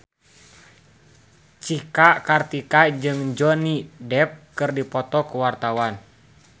Cika Kartika jeung Johnny Depp keur dipoto ku wartawan